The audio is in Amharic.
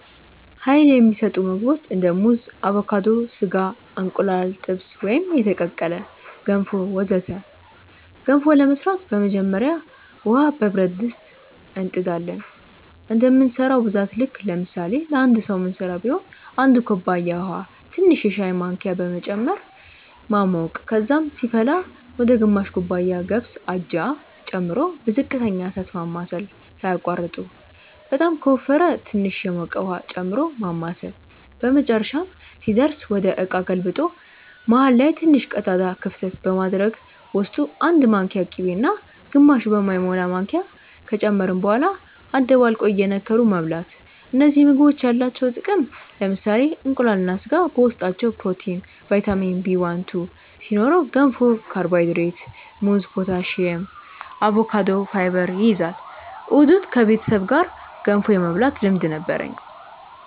Uይል የሚሰጡ ምግቦች እንደ ሙዝ አቮካዶ፣ ስጋ፣ እንቁላል ጥብስ ወይም የተቀቀለ፣ ገንፎ ወዘተ ገንፎ ለመስራት በመጀመሪያ ውሃ በብረት ድስት እንጥ ዳለን እንደምንሰራው ብዛት ልክ ለምሳሌ ለአንድ ሰዉ ምንስራ ቢሆን 1 ኩባያ ውሃ ትንሽ የሻይ ማንኪያ በመጨመር ማሞቅ ከዛም ሲፈላ ወደ ግማሽ ኩባያ ገብስ (አጃ) ጨምሮ በዝቅተኛ እሳት ማማሰል ሳያቋርጡ በጣም ከወፈረ ትንሽ የሞቀ ውሃ ጨምሮ ማማሳል በመጨረሻም ሲደርስ ወደ እቃ ገልብጦ መሃል ላይ ትንሽ ቀዳዳ ክፍተት በማድረግ ውስጡ 1 ማንኪያ ቅቤ እና ግማሽ በማይሞላ ማንኪያ ከጨመርን በኋላ አደባልቆ እየነከሩ መብላት እነዚህ ምግቦች ያላቸው ጥቅም ለምሳሌ እንቁላል እና ስጋ በውስጣቸው ፕሮቲን፣ ቫይታሚን Bl2 ሲኖረው ገንፎ ካርቦሃይድሬት፣ ሙዝ ፖታሲየም፣ አቮካዶ ፋይበር ይይዛል። እሁድ እሁድ ከቤተሰብ ጋር ገንፎ የመብላት ልምድ ነበርኝ